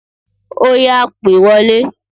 Óyá, pè wọlé!